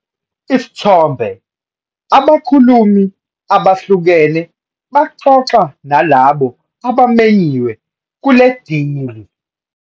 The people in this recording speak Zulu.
Isithombe- Abakhulumi abahlukene baxoxa nalabo abamenyiwe kule dili.